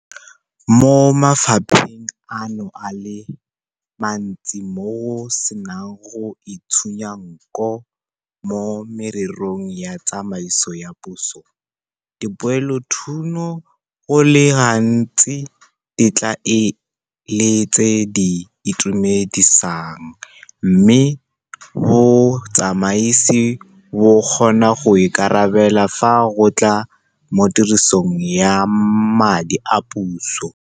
Mo mafapheng ano a le mantsi mo go senang go itshunya nko mo mererong ya tsamaiso ya puso, dipoelothuno go le gantsi di tla e le tse di itumedisang mme botsamaisi bo kgona go ikarabela fa go tla mo tirisong ya madi a puso.